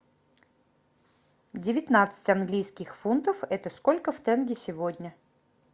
девятнадцать английских фунтов это сколько в тенге сегодня